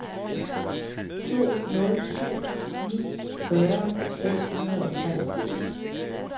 to nul syv ni fyrre seks hundrede og treogfirs